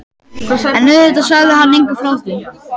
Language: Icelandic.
En auðvitað sagði hann engum frá því.